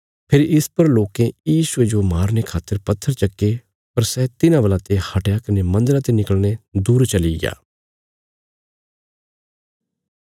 फेरी इस पर लोकें यीशुये जो मारने खातर पत्थर चक्के पर सै तिन्हां वलाते हटया कने मन्दरा ते निकल़ीने दूर चलिग्या